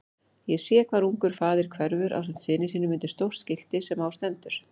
Ég sé hvar ungur faðir hverfur ásamt syni sínum undir stórt skilti sem á stendur